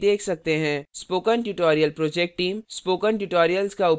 spoken tutorial project team spoken tutorial का उपयोग करके कार्यशालाएँ भी चलाती है